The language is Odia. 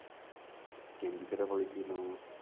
ତିନି ଥର କହିଥିବି ମ